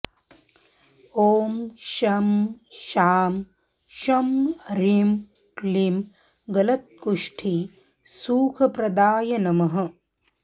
ॐ शं शां षं ह्रीं क्लीं गलत्कुष्ठिसुखप्रदाय नमः